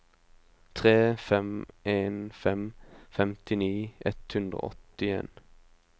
tre fem en fem femtini ett hundre og åttien